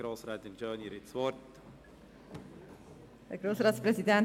Grossrätin Schöni hat das Wort.